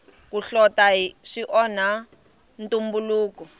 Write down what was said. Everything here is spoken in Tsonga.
ku hlota swi onha ntumbuluko